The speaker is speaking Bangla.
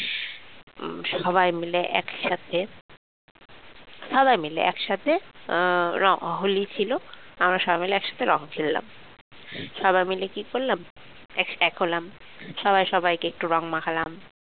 সবাই মিলে একসাথে সবাই মিলে একসাথে রঙ হলি ছিল আমরা সবাই মিলে একসাথে রঙ খেললাম সবাই মিলে কি করলাম এক হলাম সবাই সবাইকে একটু রং মাখালাম